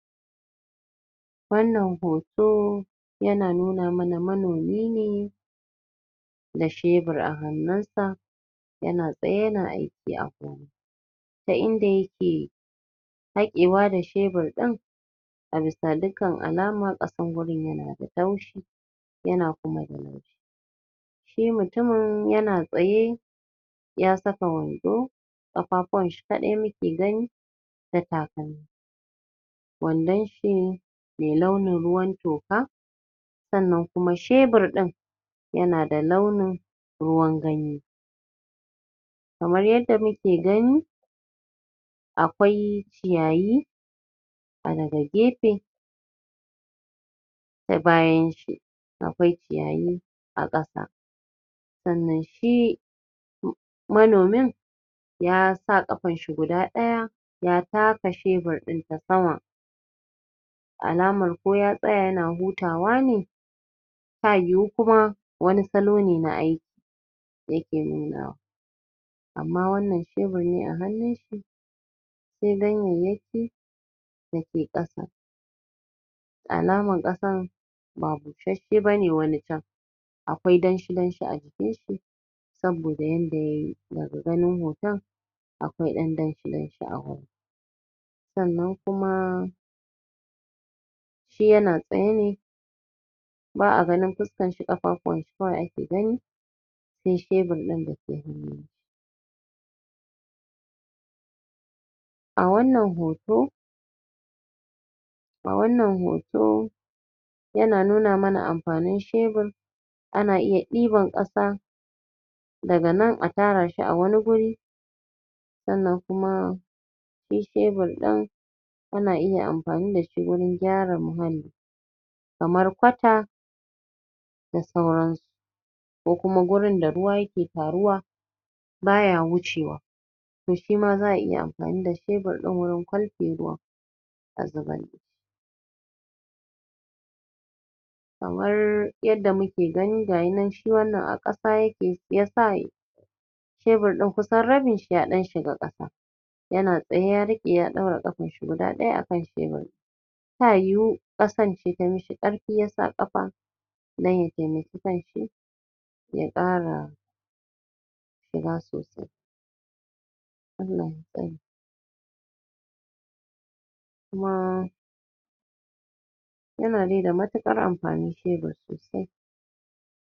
Wannan hoto yana nuna mana manomin ne da shebir a hannunsa yana tsaye yana aiki ta inda yake zaƙewa da shebir ɗin, a bisa dukkan alama ƙasar wurin tana da taushi yana kuma da laushi shi mutumin yana tsaye ya saka wando ƙafafuwanshi kaɗai nike gani da takalmi wandon shi mai launin ruwan toka sannan kuma shebur ɗin yana da launin ruwan ganye kamar yadda nike gani, a kwai ciyayi daga a gefe a bayan shi a kwai ciyayi a ƙasa wannan shi manomin ya sa ƙafanshi guda ɗaya ya taka shebir ɗin ta sama alaman ko ya tsaya yana hutawa ne ta yiwu kuma wani salo ne na aiki yake nunawa amma wannan shebur ne a hannunshi ko dai me yake dake ƙasa da alaman ƙasan ba busasshe ba ne, akwai danshi danshi a jikinshi. saboda yanda ya yi daga ganin hoton akwai ɗan danshi-danshi a wurin sannan kuma shi yana tsaye ba a ganin fuskan shi ƙafafuwanshi kawai ake gani sai shebur ɗin da ke hannu. A wannan hoto a wannan hoto yana nuna mana amfanin shebur ana iya ɗiban ƙasa daga nan a tara shi wani waje sannan kuma shi shebur ɗin ana iya amfani da shi wajen gyara muhalli kamar kwata da sauransu ko kuma gurin da ruwa yake taruwa baya wucewa to shi ma za a iya amfani da shebur ɗin wajen kwalfe ruwa a zubar kamar yadda muke gani ga ya nan shi wannan a ƙasa yake ya sa shebir ɗin kusan rabinshi ya ɗan shiga ƙasa. yana tsayae ya riƙe ya ɗaura ƙafarshi guda ɗaya a kan shebur ɗin. ta yiwu ƙasarce ta mishi ƙarfi ya sa ƙafa don ya taimaki kanshi yaƙara shiga sosai kuma yana dai da matuƙar amfani shebur sosai